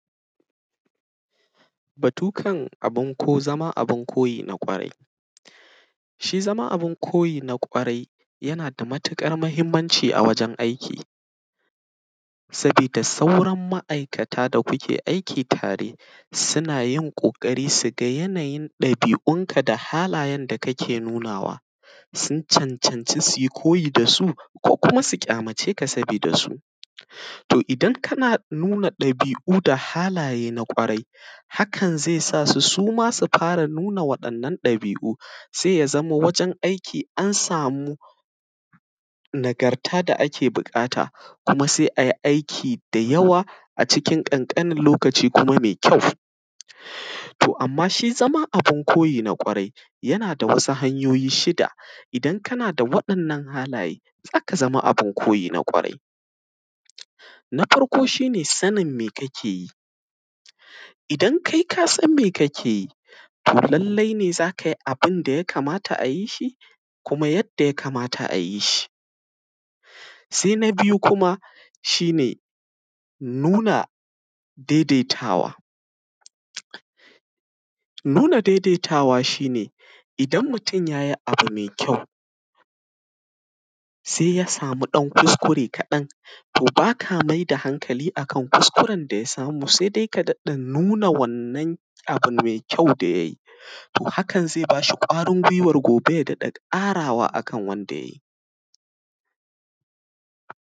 Batu kan abun ko zama abin koyi na ƙwarai. Shi zama abin koyi na ƙwarai yana da matiƙar mahimmanci a wajen aiki, sabida sauran ma’aikata da kuke aiki tare, sina yin ƙoƙari siga yanayin ɗabi’unka da halayen da kake nunawa, sun cancanci su yi koyi da su, ko kuma su ƙyamace ka sabida su. To, idan kana nuna ɗabi’u da halaye na ƙwarai, hakan ze sa su su ma su fara nuna waɗannan ɗabi’u, se ya zama wajen aiki an samu nagarta da ake biƙata. Kuma, se ai aiki da yawa a cikin ƙanƙanin lokaci kuma me kyau. To, amma shi zama abin koyi na ƙwarai, yana da wasu hanyoyi shida, idan kana da waɗannan halaye, za ka zama abin koyi na ƙwarai. Na farko, shi ne sanin me kake yi, idan kai ka san me kake yi, to lallai ne za ka yi abin da ya kamata a yi shi kuma yadda ya kamata a yi shi. Se na biyu kuma, shi ne nuna dedetawa, nuna dedetawa shi ne idan mutun ya yi abu me kyau, se ya samu ɗan kuskure kaɗan, to ba ka me da hankali a kan kuskuren da ya samu, se de ka daɗin nuna wannan abu me kyau da ya yi. To, hakan ze ba shi ƙwarin gwiwar gobe ya daɗa ƙarawa a kan wanda ya yi.